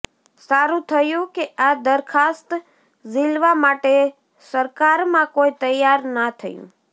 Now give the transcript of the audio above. સારુંં થયું કે આ દરખાસ્ત ઝીલવા માટે સરકારમાં કોઈ તૈયાર ના થયું